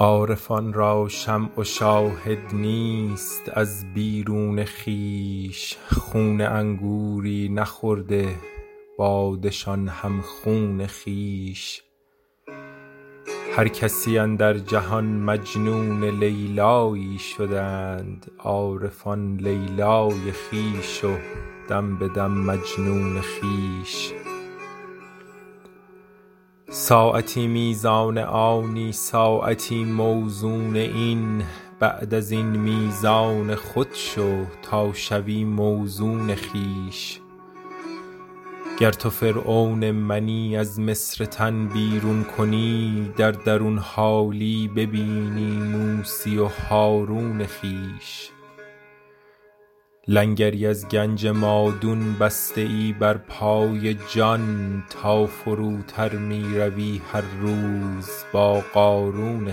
عارفان را شمع و شاهد نیست از بیرون خویش خون انگوری نخورده باده شان هم خون خویش هر کسی اندر جهان مجنون لیلیی شدند عارفان لیلی خویش و دم به دم مجنون خویش ساعتی میزان آنی ساعتی موزون این بعد از این میزان خود شو تا شوی موزون خویش گر تو فرعون منی از مصر تن بیرون کنی در درون حالی ببینی موسی و هارون خویش لنگری از گنج مادون بسته ای بر پای جان تا فروتر می روی هر روز با قارون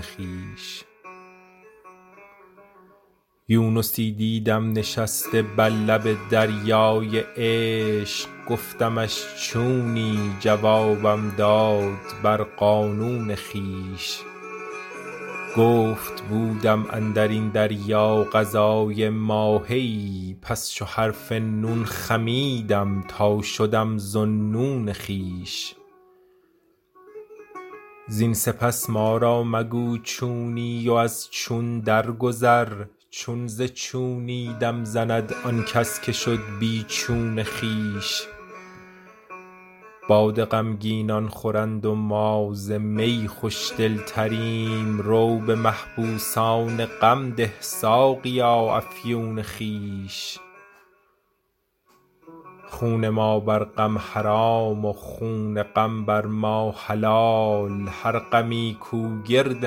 خویش یونسی دیدم نشسته بر لب دریای عشق گفتمش چونی جوابم داد بر قانون خویش گفت بودم اندر این دریا غذای ماهیی پس چو حرف نون خمیدم تا شدم ذاالنون خویش زین سپس ما را مگو چونی و از چون درگذر چون ز چونی دم زند آن کس که شد بی چون خویش باده غمگینان خورند و ما ز می خوش دلتریم رو به محبوسان غم ده ساقیا افیون خویش خون ما بر غم حرام و خون غم بر ما حلال هر غمی کو گرد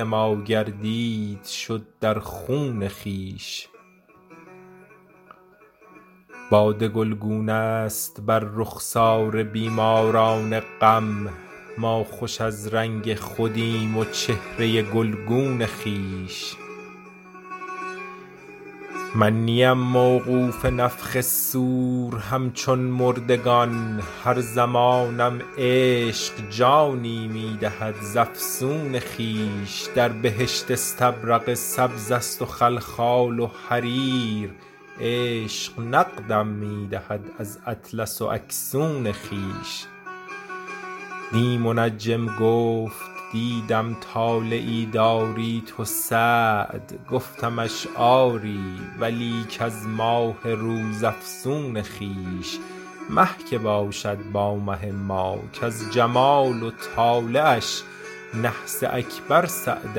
ما گردید شد در خون خویش باده گلگونه ست بر رخسار بیماران غم ما خوش از رنگ خودیم و چهره گلگون خویش من نیم موقوف نفخ صور همچون مردگان هر زمانم عشق جانی می دهد ز افسون خویش در بهشت استبرق سبزست و خلخال و حریر عشق نقدم می دهد از اطلس و اکسون خویش دی منجم گفت دیدم طالعی داری تو سعد گفتمش آری ولیک از ماه روزافزون خویش مه که باشد با مه ما کز جمال و طالعش نحس اکبر سعد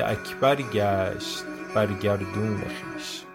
اکبر گشت بر گردون خویش